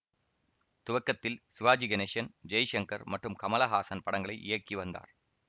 துவக்கத்தில் சிவாஜி கணேசன் ஜெய்சங்கர் மற்றும் கமலஹாசன் படங்களை இயக்கி வந்தார்